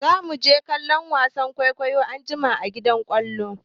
Zamu je kallon wasan kwaikwayon anjima a gidan kallo.